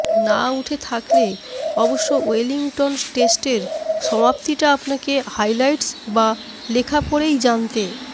না উঠে থাকলে অবশ্য ওয়েলিংটন টেস্টের সমাপ্তিটা আপনাকে হাইলাইটস বা লেখা পড়েই জানতে